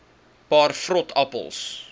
paar vrot appels